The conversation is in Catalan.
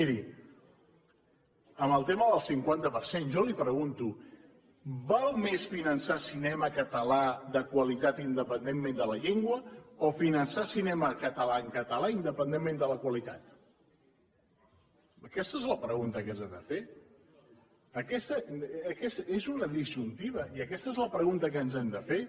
miri en el tema del cinquanta per cent jo li pregunto val més finançar cinema català de qualitat independentment de la llengua o finançar cinema català en català independentment de la qualitat aquesta és la pregunta que ens hem de fer és una disjuntiva i aquesta és la pregunta que ens hem de fer